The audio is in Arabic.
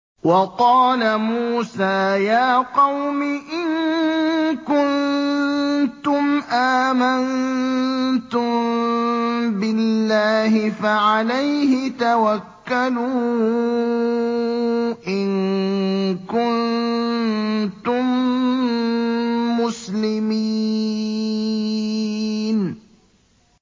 وَقَالَ مُوسَىٰ يَا قَوْمِ إِن كُنتُمْ آمَنتُم بِاللَّهِ فَعَلَيْهِ تَوَكَّلُوا إِن كُنتُم مُّسْلِمِينَ